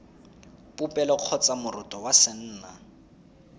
popelo kgotsa moroto wa senna